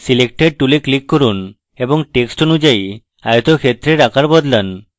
selector tool click করুন এবং text অনুযায়ী আয়তক্ষেত্রের আকার বদলান